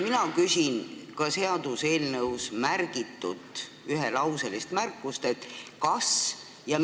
Mina küsin seaduseelnõus toodud ühelauselise märkuse kohta.